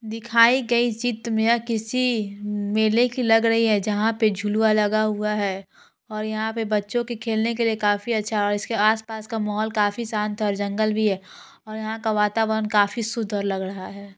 दिखाई गई चित मे किसी मेले की लग रही है जहां पे झुलूवा लगा हुआ है और यह पे बच्चो के खेलने के लिए काफी अच्छा और इसके आस पास का माहोल काफी शांत है और जंगल भी है और यहाँ का वातावरण काफी शुद्धअ लग रहा है ।